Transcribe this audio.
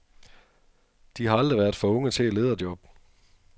De har aldrig været for unge til et lederjob.